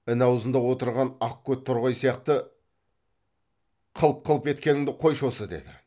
ін аузында отырған ақкөт торғай сияқты қылп қылп еткеніңді қойшы осы деді